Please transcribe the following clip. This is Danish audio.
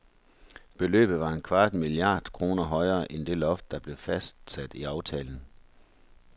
Beløbet var en kvart milliard kroner højere, end det loft, der blev fastsat i aftalen.